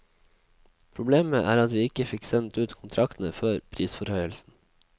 Problemet er at vi ikke fikk sendt ut kontraktene før prisforhøyelsen.